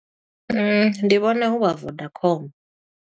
Ndi vhona hu vha Vodacom.